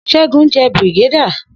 Segun jẹ́ Brigadier